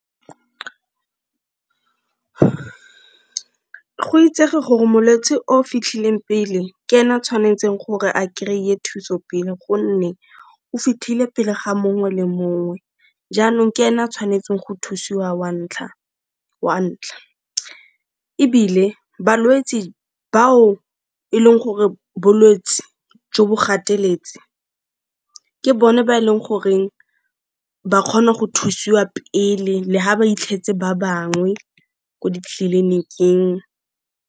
Go itsege gore molwetse o fitlhileng pele ke ena a tshwanetseng gore a kry-e thuso pelo gonne o fitlhile pele ga mongwe le mongwe jaanong ke ena a tshwanetseng go thusiwa wa ntlha, ebile balwetse ba o e leng gore bolwetse jo bo gateletse ke bone ba e leng goreng ba kgona go thusiwa pele le ga ba itlhetse ba bangwe ko ditleliniking.